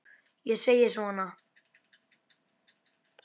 Ég segi svona.